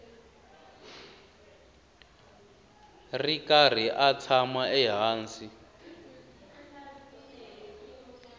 ri karhi a tshama ehansi